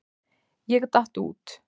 Ég datt út.